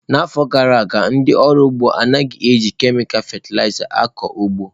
N'afọ gara aga, ndị ọrụ ugbo anaghị eji kemịkal fatịlaịza akụ ụgbọ.